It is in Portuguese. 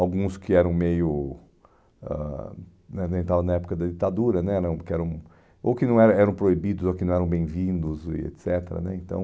alguns que eram meio ãh né estavam na época da ditadura né, não, porque eram, ou que não eram proibidos, ou que não eram bem-vindos, e et cetera né então